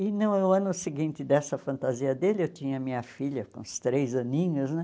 E no ano seguinte dessa fantasia dele, eu tinha minha filha com uns três aninhos, né?